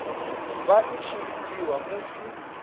vha i tshi lidziwa musi